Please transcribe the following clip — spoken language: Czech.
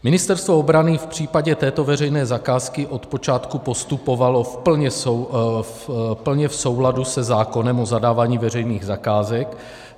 Ministerstvo obrany v případě této veřejné zakázky od počátku postupovalo plně v souladu se zákonem o zadávání veřejných zakázek.